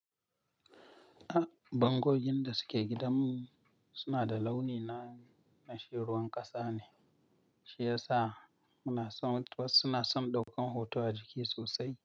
Ah, bangogin da suke gidan mu suna da launi na, na shiruan ƙasa ne, shi yasa muna son, wasu suna son ɗaukan hoto a ciki sosai.